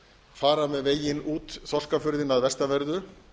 fara með veginn út þorskafjörðinn að vestanverðu